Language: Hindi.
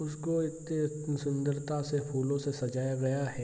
उसको एक सुंदरता से फूलो से सजाया गया है।